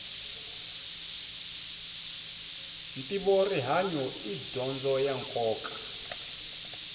ntivo rihanyu i dyondzo ya nkoka